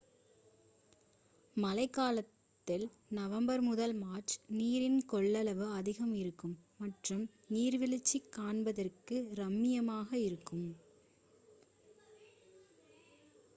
மழைக்காலத்தில் நவம்பர் முதல் மார்ச் நீரின் கொள்ளளவு அதிகமாக இருக்கும் மற்றும் நீர்வீழ்ச்சி காண்பதற்கு ரம்மியமாக இருக்கும்